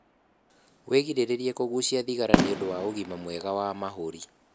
wĩgirĩrĩrie kugucia thigara nĩũndũ wa ũgima mwega wa mahũri